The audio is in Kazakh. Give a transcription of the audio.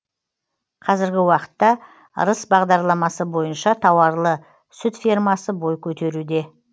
қазіргі уақытта ырыс бағдарламасы бойынша тауарлы сүт фермасы бой көтеруде